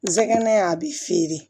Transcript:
Nsɛgɛn a bɛ feere